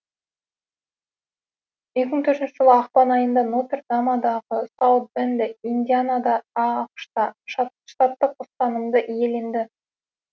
екі мың төртінші жылы ақпан айында нотер дамадағы саут бенде индианада ақш та штаттық ұстанымды иеленеді